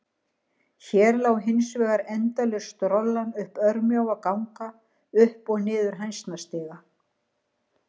Hér lá hins vegar endalaus strollan um örmjóa ganga, upp og niður hænsnastiga.